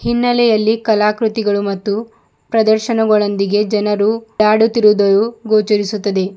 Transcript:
ಹಿನ್ನೆಲೆಯಲ್ಲಿ ಕಲಾಕ್ರುತಿಗಳು ಮತ್ತು ಪ್ರದರ್ಶನಗಳೊಂದಿಗೆ ಜನರು ಓಡಾಡುತ್ತಿರುವುದು ಗೋಚರಿಸುತ್ತದೆ.